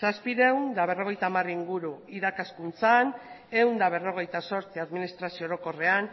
zazpiehun eta berrogeita hamar inguru irakaskuntzan ehun eta berrogeita zortzi administrazio orokorrean